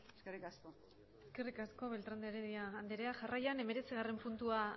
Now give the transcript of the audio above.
eskerrik asko eskerrik asko beltrán de heredia anderea jarraian hemeretzigarren puntua